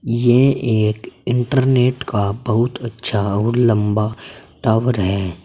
ये एक इंटरनेट का बहुत अच्छा और लंबा टावर है।